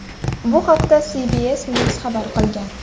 Bu haqda CBS News xabar qilgan .